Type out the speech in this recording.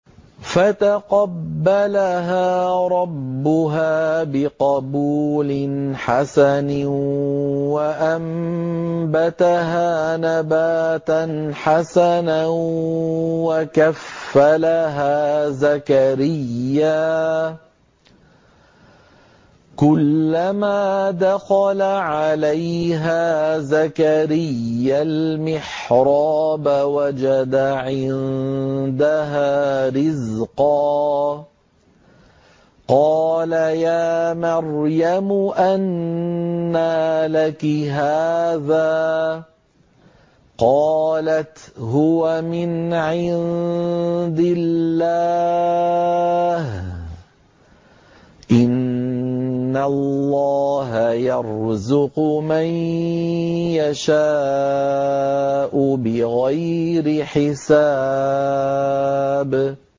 فَتَقَبَّلَهَا رَبُّهَا بِقَبُولٍ حَسَنٍ وَأَنبَتَهَا نَبَاتًا حَسَنًا وَكَفَّلَهَا زَكَرِيَّا ۖ كُلَّمَا دَخَلَ عَلَيْهَا زَكَرِيَّا الْمِحْرَابَ وَجَدَ عِندَهَا رِزْقًا ۖ قَالَ يَا مَرْيَمُ أَنَّىٰ لَكِ هَٰذَا ۖ قَالَتْ هُوَ مِنْ عِندِ اللَّهِ ۖ إِنَّ اللَّهَ يَرْزُقُ مَن يَشَاءُ بِغَيْرِ حِسَابٍ